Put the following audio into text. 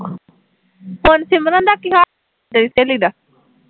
ਹੋਰ ਸਿਮਰਨ ਦਾ ਕੀ ਹਾਲ ਐ, ਸਹੇਲੀ ਦਾ